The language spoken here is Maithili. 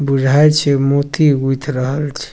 बुझाय छै मोती गूथ रहल छै।